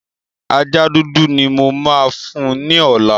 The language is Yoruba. Ajá dúdú ni mo máa fún ní ọ̀la.